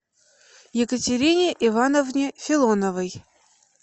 екатерине ивановне филоновой